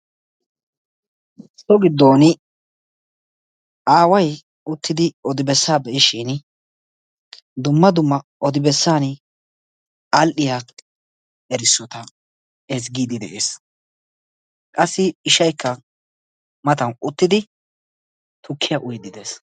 So gidoon aaway uttidi odi besaa be'ishin dumma dumma odi bessaan adhdhiya erisotta ezzgiidi de'ees. Qassi ishshaykka matan uttidi tukkiya uyiidi de'ees.